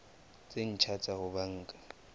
tse ntjha tsa ho banka